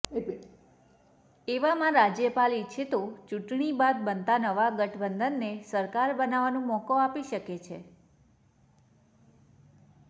એવામાં રાજયપાલ ઇચ્છે તો ચૂંટણી બાદ બનતા નવા ગઠબંધનને સરકાર બનાવાનો મોકો આપી શકે છે